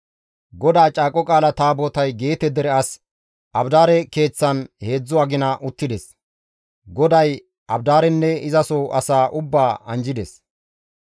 GODAA Caaqo Qaala Taabotay Geete dere as Abidaare keeththan heedzdzu agina uttides; GODAY Abidaarenne izaso asaa ubbaa anjjides.